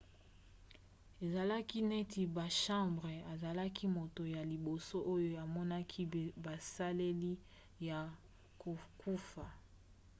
ezalaki neti bachambre. azalaki moto ya liboso oyo amonaki baselile ya kokufa